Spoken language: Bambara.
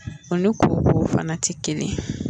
O ni koko fana tɛ kelen